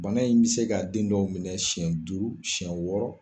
Bana in bɛ se ka den dɔw minɛ siɲɛ duuru siɲɛ wɔɔrɔ.